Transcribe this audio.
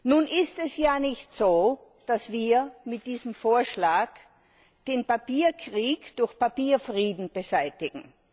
Nun ist es ja nicht so, dass wir mit diesem Vorschlag den Papierkrieg durch Papierfrieden beseitigen.